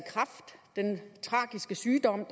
den tragiske sygdom